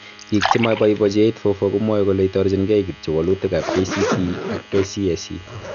Biik chemaboibochi 8-4-4 komwae kole itorjingei kityo walutikab KCPE ak KCSE